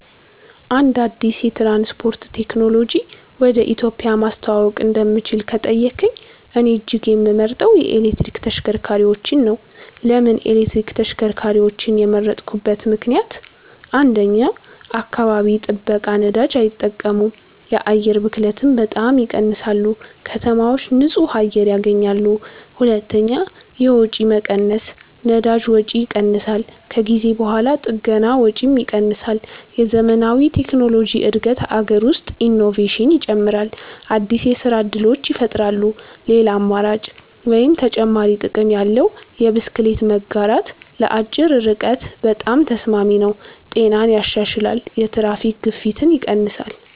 አንድ አዲስ የትራንስፖርት ቴክኖሎጂ ወደ ኢትዮጵያ ማስተዋወቅ እንደምችል ከተጠየቀኝ፣ እኔ እጅግ የምመርጠው የኤሌክትሪክ ተሽከርካሪዎች ነው። ለምን ኤሌክትሪክ ተሽከርካሪዎችን የመረጥኩበት ምክንደያት? 1. አካባቢ ጥበቃ ነዳጅ አይጠቀሙም የአየር ብክለትን በጣም ይቀንሳሉ ከተማዎች ንጹህ አየር ያገኛሉ 2. የወጪ መቀነስ ነዳጅ ወጪ ይቀንሳል ከጊዜ በኋላ ጥገና ወጪም ይቀንሳል የዘመናዊ ቴክኖሎጂ እድገት አገር ውስጥ ኢኖቬሽን ይጨምራል አዲስ የስራ እድሎች ይፈጠራሉ ሌላ አማራጭ (ተጨማሪ ጥቅም ያለው) የብስክሌት መጋራት ለአጭር ርቀት በጣም ተስማሚ ነው ጤናን ያሻሽላል የትራፊክ ግፊት ይቀንሳል